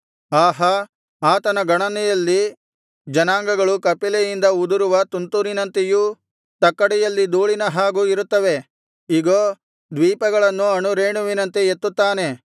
ಆಹಾ ಆತನ ಗಣನೆಯಲ್ಲಿ ಜನಾಂಗಗಳು ಕಪಿಲೆಯಿಂದ ಉದುರುವ ತುಂತುರಿನಂತೆಯೂ ತಕ್ಕಡಿಯಲ್ಲಿನ ಧೂಳಿನ ಹಾಗೂ ಇರುತ್ತವೆ ಇಗೋ ದ್ವೀಪಗಳನ್ನು ಅಣುರೇಣುವಿನಂತೆ ಎತ್ತುತ್ತಾನೆ